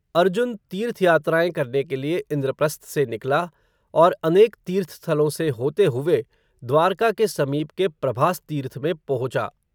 अर्जुन तीर्थ यात्राएँ करने के लिए, इंद्रप्रस्थ से निकला, और अनेक तीर्थ स्थलों से होते हुवे, द्वारका के समीप के, प्रभास तीर्थ में पोहोचा